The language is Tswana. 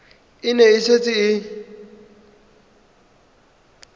e ne e setse e